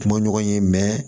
Kuma ɲɔgɔn ye